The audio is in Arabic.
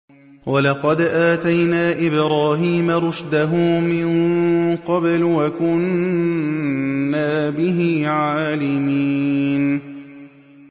۞ وَلَقَدْ آتَيْنَا إِبْرَاهِيمَ رُشْدَهُ مِن قَبْلُ وَكُنَّا بِهِ عَالِمِينَ